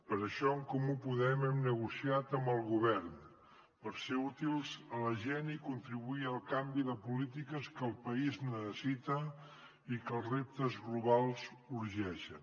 per això en comú podem hem negociat amb el govern per ser útils a la gent i contribuir al canvi de polítiques que el país necessita i que els reptes globals urgeixen